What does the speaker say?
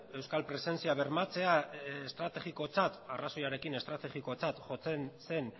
euskal presentzia bermatzea estrategikotzat arrazoiarekin estrategikotzat jotzen zen